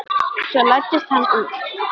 Svo læddist hann út.